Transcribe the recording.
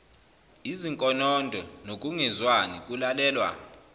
izinkonondo nokungezwani kulalelwa